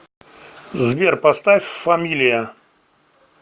сбер поставь фамилия